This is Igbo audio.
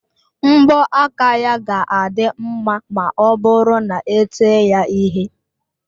mbọ aka ya ga-adị mma ma ọ bụrụ na ete ya ihe